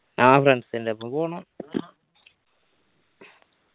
ആ friends ൻ്റെപ്പോ പോണം